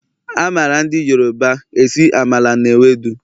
A mara Ndi yoruba esi Amala na ewedu